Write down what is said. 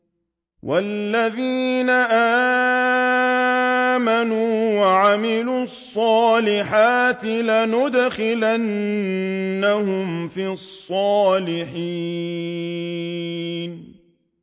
وَالَّذِينَ آمَنُوا وَعَمِلُوا الصَّالِحَاتِ لَنُدْخِلَنَّهُمْ فِي الصَّالِحِينَ